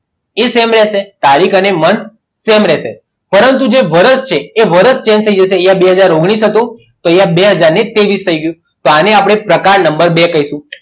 એ same રહેશે તારીખ અને મંથ સેમ રહેશે પરંતુ જે વર્ષ છે તે વર્ષ change થઈ જશે અહીંયા બે હાજર ઓગણીસ હતું અહીંયા બે હાજર ની ત્રેવીસ થઈ ગયું તો આને આપણે પ્રકાર number બે કહીશું